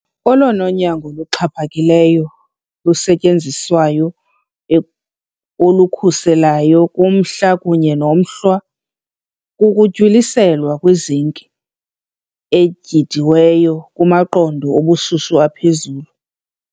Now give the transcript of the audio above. Olona nyango luxhaphakileyo lusetyenziswayo olukhuselayo kumhlwa kunye nomhlwa kukuntywiliselwa kwi-zinc etyhidiweyo kumaqondo obushushu aphezulu.